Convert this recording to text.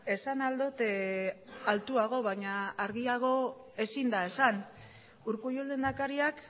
esan ahal dut altuago baina argiago ezin da esan urkullu lehendakariak